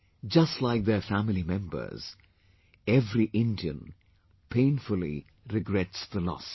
Just like their family members, every Indian painfully regrets the loss